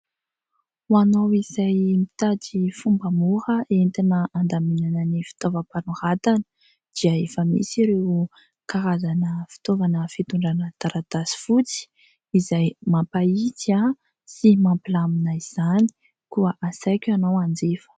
Ho anao izay mitady fomba mora entina andaminana ny fitaovam-panoratana dia efa misy ireo karazana fitaovana fitondrana taratasy fotsy izay mampahitsy sy mampilamina izany koa asaiko ianao hanjifa.